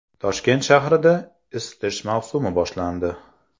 Toshkent shahrida isitish mavsumi boshlandi.